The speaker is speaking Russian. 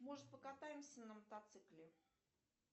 может покатаемся на мотоцикле